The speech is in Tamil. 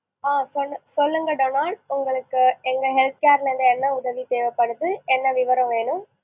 ஆ! சொல்லுங், சொல்லுங்க டொனால்டு. உங்களுக்கு எங்க health care ல இருந்து என்ன உதவி தேவபடுது, என்ன விவரம் வேணும்?